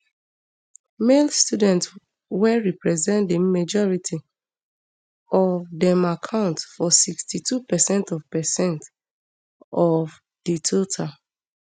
male students wey represent di majority of um dem account for sixty-two percent of percent of um di total